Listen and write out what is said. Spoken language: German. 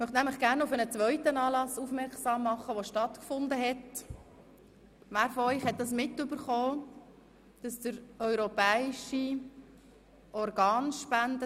– Ich möchte Sie nämlich noch gern auf einen zweiten Anlass aufmerksam machen, der am Wochenende stattgefunden hat, nämlich den europäischen Tag der Organspende.